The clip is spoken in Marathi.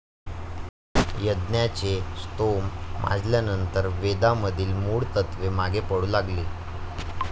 यज्ञाचे स्तोम माजल्यानंतर वेदामधील मूळ तत्त्वे मागे पडू लागली.